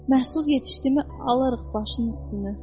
Məhsul yetişdimi, alarıq başının üstünü.